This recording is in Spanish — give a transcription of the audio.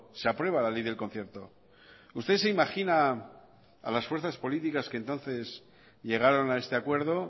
se aprueba la ley del concierto usted se imagina a las fuerzas políticas que entonces llegaron a este acuerdo